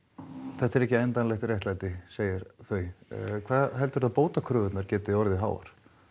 þetta er ekki endanlegt réttlæti segja þau hvað heldurðu að bótakröfurnar geti orðið háar